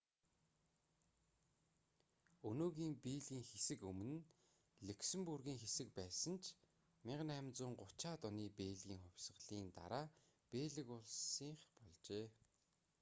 өнөөгийн бельгийн хэсэг өмнө нь люксембургийн хэсэг байсан ч 1830-аад оны бельгийн хувьсгалын дараа бельги улсынх болжээ